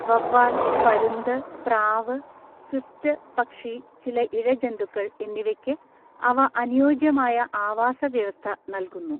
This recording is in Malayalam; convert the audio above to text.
വവ്വാൽ, പരുന്ത്, പ്രാവ്, സ്വിഫ്റ്റ് പക്ഷി, ചില ഇഴജന്തുക്കൾ എന്നിവയ്ക്ക് അവ അനുയോജ്യമായ ആവാസ വ്യവസ്ഥ നൽകുന്നു.